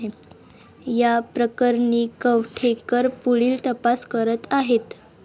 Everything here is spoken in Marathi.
या प्रकरणी कवठेकर पुढील तपास करत आहेत.